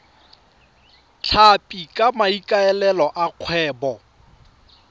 tlhapi ka maikaelelo a kgwebo